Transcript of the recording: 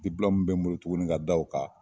dipulɔmu min be n bolo tuguni ka da o ka